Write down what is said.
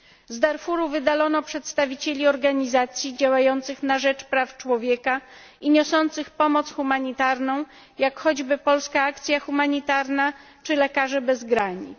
Z Darfuru wydalono przedstawicieli organizacji działających na rzecz praw człowieka i niosących pomoc humanitarną, jak choćby Polska Akcja Humanitarna czy Lekarze Bez Granic.